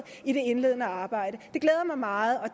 i det indledende arbejde det glæder mig meget og